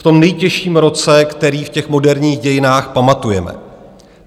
V tom nejtěžším roce, který v těch moderních dějinách pamatujeme.